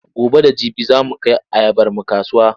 Gobe da jibi za mu kai ayabarmu kasuwa.